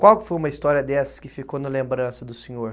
Qual foi uma história dessas que ficou na lembrança do senhor?